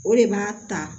O de b'a ta